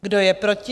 Kdo je proti?